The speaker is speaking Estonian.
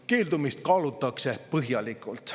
Keeldumist kaalutakse põhjalikult.